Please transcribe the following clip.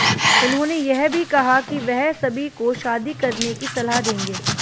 उन्होंने यह भी कहा कि वह सभी को शादी करने की सलाह देंगे